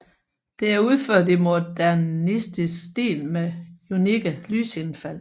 Det er udført i modernistisk stil med unikke lysindfald